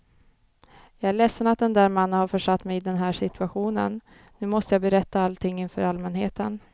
Jag är ledsen att den där mannen har försatt mig i den här situationen, nu måste jag berätta allting inför allmänheten.